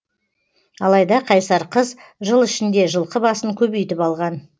алайда қайсар қыз жыл ішінде жылқы басын көбейтіп алған